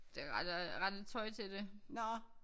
Det rette rette tøj til det